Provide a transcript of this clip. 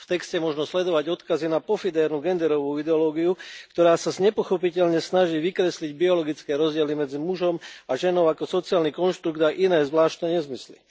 V texte možno sledovať odkazy na pofidérnu genderovú ideológiu, ktorá sa nepochopiteľne snaží vykresliť biologické rozdiely medzi mužom a ženou ako sociálny konštrukt a iné zvláštne nezmysly.